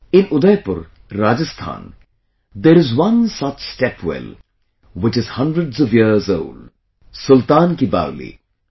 In Udaipur, Rajasthan, there is one such stepwell which is hundreds of years old 'Sultan Ki Baoli'